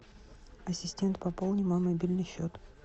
ассистент пополни мой мобильный счет